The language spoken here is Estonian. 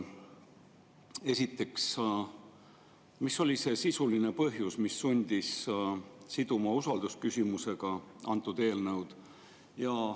Esiteks, mis oli see sisuline põhjus, mis sundis siduma antud eelnõu usaldusküsimusega?